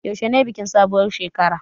Yaushe ne bikin sabuwar shekarar.